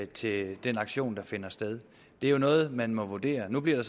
til den aktion der finder sted det er jo noget som man må vurdere nu bliver der